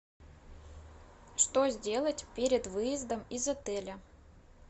что сделать перед выездом из отеля